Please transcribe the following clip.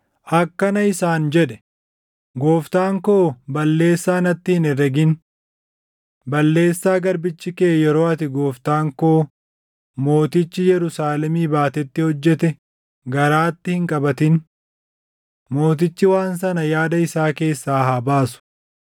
akkana isaan jedhe; “Gooftaan koo balleessaa natti hin herregin. Balleessaa garbichi kee yeroo ati gooftaan koo mootichi Yerusaalemii baatetti hojjete garaatti hin qabatin. Mootichi waan sana yaada isaa keessaa haa baasu.